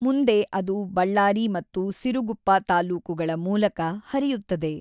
ಮುಂದೆ ಅದು ಬಳ್ಳಾರಿ ಮತ್ತು ಸಿರುಗುಪ್ಪ ತಾಲ್ಲೂಕುಗಳ ಮೂಲಕ ಹರಿಯುತ್ತದೆ.